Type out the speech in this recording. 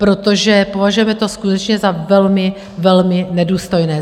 Protože považujeme to skutečně za velmi, velmi nedůstojné.